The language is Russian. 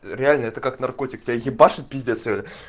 реально это как наркотик тебя ебашит пиздец реально